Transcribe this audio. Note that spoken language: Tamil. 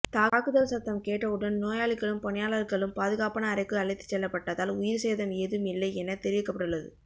தாக்குதல் சத்தம் கேட்டவுடன் நோயாளிகளும் பணியாளர்களும் பாதுகாப்பான அறைக்கு அழைத்துச் செல்லப்பட்டதால் உயிர் சேதம் ஏதும் இல்லை என தெரிவிக்கப்பட்டுள்ளது